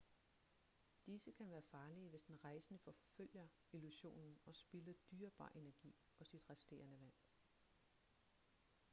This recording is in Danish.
disse kan være farlige hvis den rejsende forfølger illusionen og spilder dyrebar energi og sit resterende vand